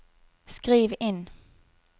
skriv inn